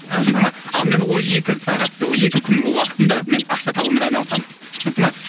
аха түсінікті ма ал мен ол екі сағатты екі күнгі уақытында мен ақша табумен айналысам түсінікті ма